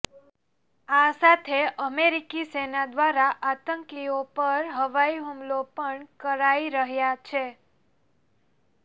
આ સાથે અમેરિકી સેના દ્વારા આતંકીઓ પર હવાઈ હુમલા પણ કરાઈ રહ્યા છે